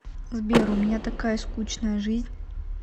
сбер у меня такая скучная жизнь